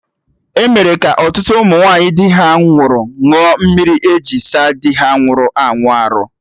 Emere ka ọtụtụ ụmụ nwaanyị di ha nwụrụ ṅụọ mmiri eji saa dị ha nwụrụ anwụ arụ